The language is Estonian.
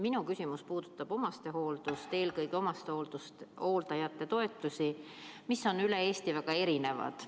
Minu küsimus puudutab omastehooldust, eelkõige omastehooldajate toetusi, mis on üle Eesti väga erinevad.